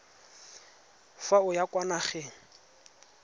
fa o ya kwa nageng